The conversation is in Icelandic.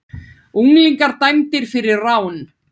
Unglingar dæmdir fyrir rán